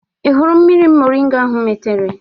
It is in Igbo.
Ị hụrụ mmiri moringa ahụ m metere?